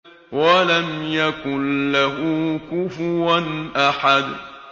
وَلَمْ يَكُن لَّهُ كُفُوًا أَحَدٌ